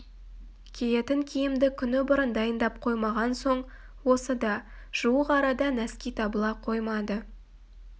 киетін киімді күні бұрын дайындап қоймаған соң осы да жуық арада нәски табыла қоймады